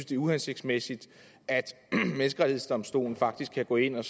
det er uhensigtsmæssigt at menneskerettighedsdomstolen faktisk kan gå ind og